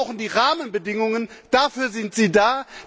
Wir brauchen die Rahmenbedingungen, dafür sind sie da!